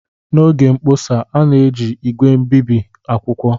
N'oge mkpọsa, a na-eji ígwè obibi akwụkwọ